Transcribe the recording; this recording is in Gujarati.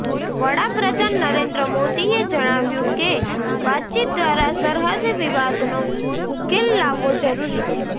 વડાપ્રધાન નરેન્દ્ર મોદીએ જણાવ્યું કે વાતચીત દ્વારા સરહદ વિવાદનો ઉકેલ લાવવો જરૂરી છે